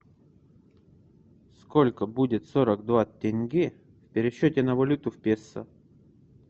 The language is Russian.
сколько будет сорок два тенге в пересчете на валюту в песо